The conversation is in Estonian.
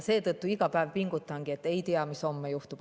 Seetõttu pingutangi iga päev, et ei tea, mis homme juhtub.